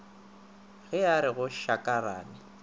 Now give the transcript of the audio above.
ge a re go šarakane